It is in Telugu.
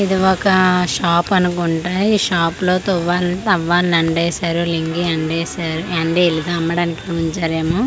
ఇది ఒక షాప్ అనుకుంటా ఈ షాప్ లో తువాల్ టవల్ ని ఎండేశారు లింగి ఎండేశారు ఎండేయలేదు అమ్మడానికి ఉంచారేమో.